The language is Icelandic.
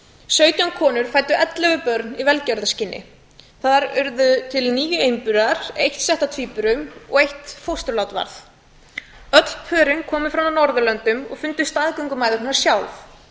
sautján konur fæddu ellefu börn í velferðarskyni þar urðu til níu einburar eitt sett af tvíburum og eitt fósturlát þar öll pörin komu frá norðurlöndunum og fundu staðgöngumæðurnar sjálf